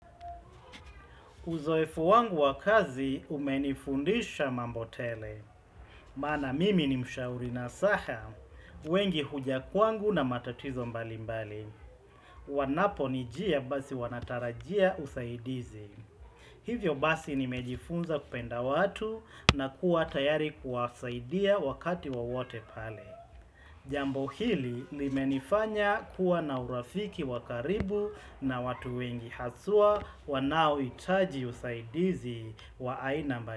Uzoefu wangu wa kazi umenifundisha mambo tele. Maana mimi ni mshauri nasaha, wengi huja kwangu na matatizo mbali mbali. Wanaponijia basi wanatarajia usaidizi. Hivyo basi nimejifunza kupenda watu na kuwa tayari kuwasaidia wakati wowote pale. Jambo hili limenifanya kuwa na urafiki wa karibu na watu wengi haswa wanaohitaji usaidizi wa aina mbali.